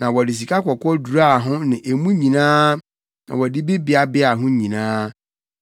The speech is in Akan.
Na wɔde sikakɔkɔɔ duraa ho ne emu nyinaa na wɔde bi beabea ho nyinaa.